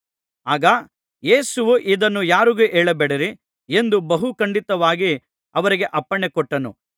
ಆಗ ಯೇಸುವು ಇದನ್ನು ಯಾರಿಗೂ ಹೇಳಬೇಡಿರಿ ಎಂದು ಬಹು ಖಂಡಿತವಾಗಿ ಅವರಿಗೆ ಅಪ್ಪಣೆ ಕೊಟ್ಟನು